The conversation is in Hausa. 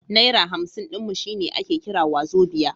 Naira hamsin ɗin mu shine ake kira wazobia.